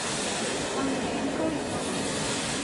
андреем каримовым